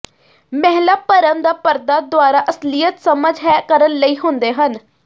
ਮਹਿਲਾ ਭਰਮ ਦਾ ਪਰਦਾ ਦੁਆਰਾ ਅਸਲੀਅਤ ਸਮਝ ਹੈ ਕਰਨ ਲਈ ਹੁੰਦੇ ਹਨ